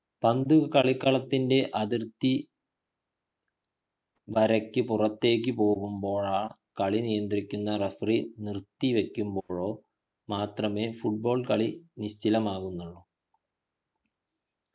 പന്തു കളിക്കളത്തിലെ അതിർത്ത വരയ്ക്കു പുറത്തേക്കു പോകുമ്പോഴോ കാളി നിയന്ത്രിക്കുന്ന referree നിർത്തി വയ്ക്കുമ്പോഴോ മാത്രമേ football കളി നിശ്ചലമാകുന്നുള്ളു